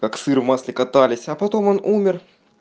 как сыр в масле катались а потом он умер